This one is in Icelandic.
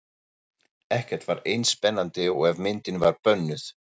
Ekkert var eins spennandi og ef myndin var bönnuð.